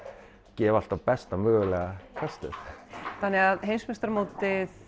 gefa alltaf besta mögulega kastið þannig að heimsmeistaramótið